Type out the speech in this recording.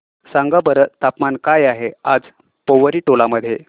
सांगा बरं तापमान काय आहे आज पोवरी टोला मध्ये